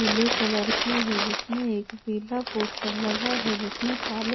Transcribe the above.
पीले कलर की है जिसमें एक पीला पोस्टर लगा है जिसमें काले--